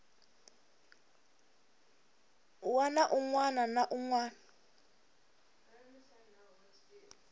wana un wana na un